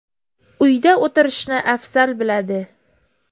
Uyda o‘tirishni afzal biladi.